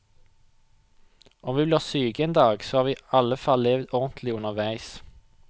Om vi blir syke en dag, så har vi i alle fall levd ordentlig underveis.